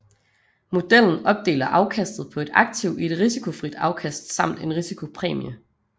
Modellen opdeler afkastet på et aktiv i et risikofrit afkast samt en risikopræmie